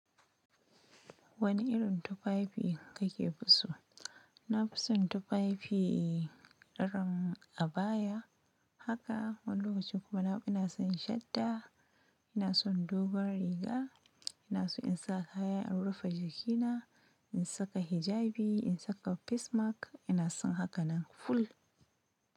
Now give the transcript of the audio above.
Wane irin tufafi ka ke fi so? Na fi son tufafi daren abaya haka, wani lokacin kuma ina son shadda, ina son dogon riga, ina so in sa kayan in rufe jikina, in saka hijabi, in saka face mask ina son haka nan full.